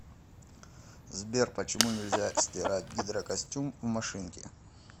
сбер почему нельзя стирать гидрокостюм в машинке